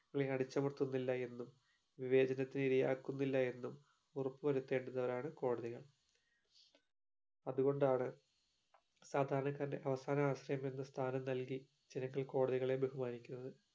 അടിച്ചമർത്തുന്നില്ല എന്നും വിവേചനത്തിന് ഇരയാക്കുന്നില്ല എന്നും ഉറപ്പു വരുത്തേണ്ടുന്നവരാണ് കോടതികൾ അതുകൊണ്ടാണ് സാധാരണക്കാരന്റെ അവസാന ആശ്രയം എന്ന സ്ഥാനം നൽകി ജനങ്ങൾ കോടതികളെ ബഹുമാനിക്കുന്നത്